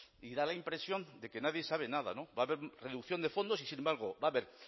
y da la impresión de que nadie sabe nada va a haber reducción de fondos y sin embargo va a haber